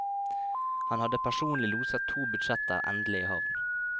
Han hadde personlig loset to budsjetter endelig i havn.